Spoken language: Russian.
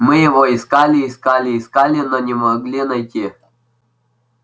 мы его искали искали искали но не могли найти